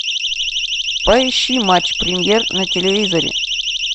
поищи матч премьер на телевизоре